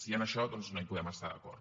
i en això doncs no hi podem estar d’acord